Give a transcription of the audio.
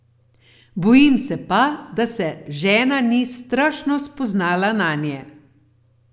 Bojim se pa, da se žena ni strašno spoznala nanje.